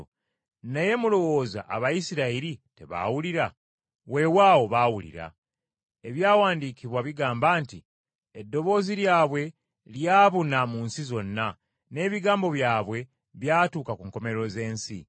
Naye mulowooza Abayisirayiri tebaawulira? Weewaawo baawulira. Ebyawandiikibwa bigamba nti, “Eddoboozi lyabwe lyabuna mu nsi zonna, n’ebigambo byabwe byatuuka ku nkomerero z’ensi.”